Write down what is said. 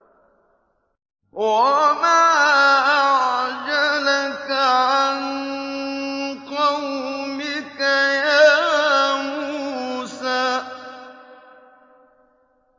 ۞ وَمَا أَعْجَلَكَ عَن قَوْمِكَ يَا مُوسَىٰ